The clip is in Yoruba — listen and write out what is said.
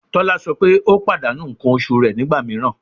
Tola sọ pe o padanu nkan oṣu rẹ nigba miiran